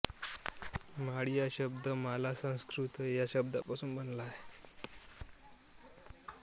माळी हा शब्द माला संस्कृतया शब्दापासून बनला आहे